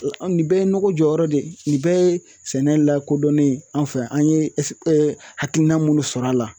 Nin bɛɛ ye nɔgɔ jɔyɔrɔ de ye nin bɛɛ ye sɛnɛ lakodɔnnen ye an fɛ an ye hakilina minnu sɔrɔ a la